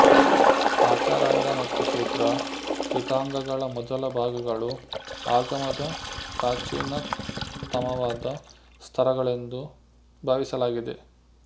ಆಚಾರಾಂಗ ಮತ್ತು ಸೂತ್ರ ಕೃತಾಂಗಗಳ ಮೊದಲ ಭಾಗಗಳು ಆಗಮದ ಪ್ರಾಚೀನತಮವಾದ ಸ್ತರಗಳೆಂದು ಭಾವಿಸಲಾಗಿದೆ